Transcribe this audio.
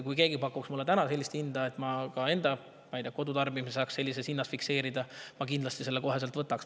Kui keegi pakuks mulle täna sellist hinda,, et ma saaks ka enda kodutarbimises sellise hinna fikseerida, siis ma kindlasti selle koheselt võtaks.